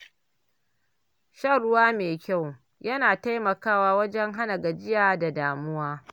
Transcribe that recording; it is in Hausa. Shan ruwa mai kyau yana taimakawa wajen hana gajiya da damuwa.